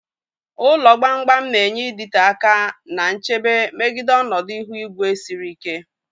Ụlọ gbam gbam na-enye ịdịte aka na nchebe megide ọnọdụ ihu igwe siri ike.